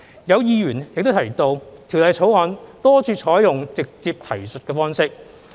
有議員提及《條例草案》多處採用"直接提述方式"。